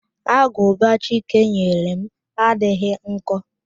Agụba Chike nyere m adịghị nkọ